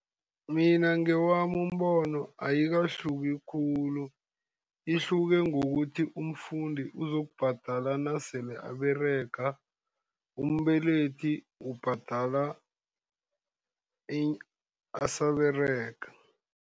Mina ngewami umbono ayikahluki khulu, ihluke ngokuthi umfundi uzokubhadala nasele aberega, umbelethi ubhadala asaberega.